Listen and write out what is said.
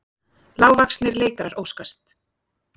Lágvaxnir leikarar óskast